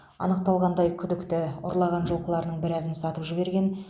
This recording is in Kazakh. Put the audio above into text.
анықталғандай күдікті ұрлаған жылқыларының біразын сатып жіберген